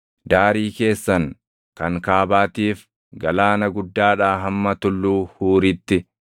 Daarii keessan kan kaabaatiif galaana guddaadhaa hamma Tulluu Huuritti,